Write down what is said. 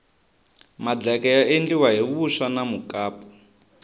madleke ya endliwa hi vuswa na mukapu